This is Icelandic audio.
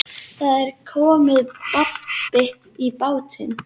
Það er komið babb í bátinn